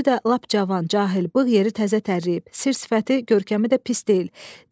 Özü də lap cavan, cahıl, bığ yeri təzə tərləyib, sir-sifəti, görkəmi də pis deyil.